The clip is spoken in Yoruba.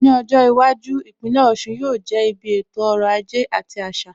Ní ọjọ́ iwájú, Ìpínlẹ̀ Ọ̀sun yóò jẹ́ ibi ètò ọrọ̀ ajé àti àṣà.